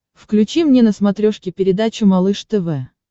включи мне на смотрешке передачу малыш тв